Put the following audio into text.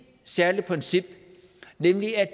særligt princip nemlig at